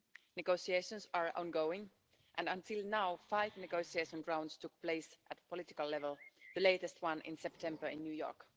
Negotiations are ongoing and until now five negotiation rounds took place at political level, the latest one in September in New York.